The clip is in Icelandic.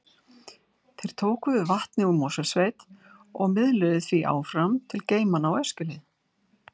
Þeir tóku við vatni úr Mosfellssveit og miðluðu því áfram til geymanna á Öskjuhlíð.